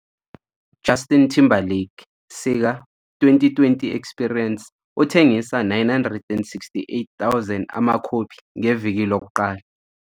"Justin Timberlake sika '20 - 20 Experience 'Uthengisa 968.000 amakhophi Ngeviki Lokuqala".